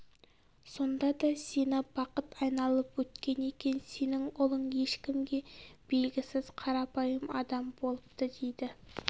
сонда да сені бақыт айналып өткен екен сенің ұлың ешкімге белгісіз қарапайым адам болыпты дейді